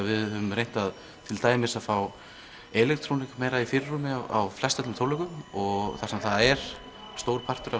við höfum reynt til dæmis að fá meira í fyrirrúmi á flestöllum tónleikum og þar sem það er stór partur af